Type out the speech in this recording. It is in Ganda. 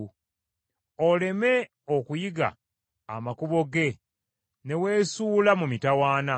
oleme okuyiga amakubo ge ne weesuula mu mitawaana.